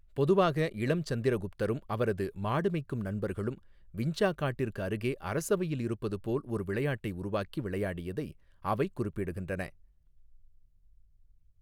பொதுவாக, இளம் சந்திரகுப்தரும் அவரது மாடு மெய்க்கும் நண்பர்களும் விஞ்சா காட்டிற்கு அருகே அரசவையில் இருப்பது போல் ஒரு விளையாட்டை உருவாக்கி விளையாடியதை அவை குறிப்பிடுகின்றன.